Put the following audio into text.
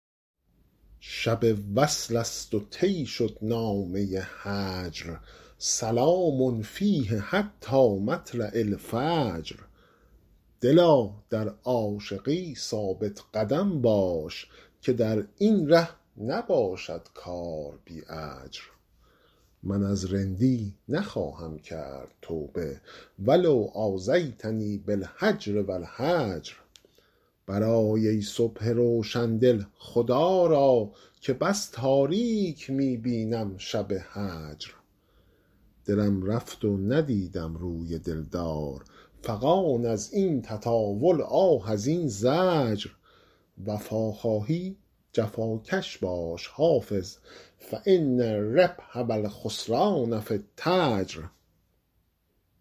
شب وصل است و طی شد نامه هجر سلام فیه حتی مطلع الفجر دلا در عاشقی ثابت قدم باش که در این ره نباشد کار بی اجر من از رندی نخواهم کرد توبه و لو آذیتنی بالهجر و الحجر برآی ای صبح روشن دل خدا را که بس تاریک می بینم شب هجر دلم رفت و ندیدم روی دل دار فغان از این تطاول آه از این زجر وفا خواهی جفاکش باش حافظ فان الربح و الخسران في التجر